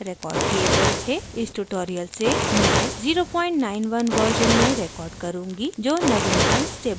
इस tutorial से मैं 091 version में record करुँगी जो नवीनतम stable version है